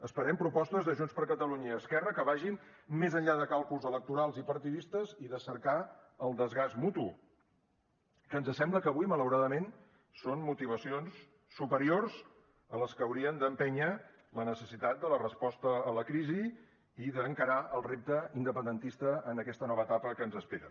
esperem propostes de junts per catalunya i esquerra que vagin més enllà de càlculs electorals i partidistes i de cercar el desgast mutu que ens sembla que avui malauradament són motivacions superiors a les que haurien d’empènyer la necessitat de la resposta a la crisi i d’encarar el repte independentista en aquesta nova etapa que ens espera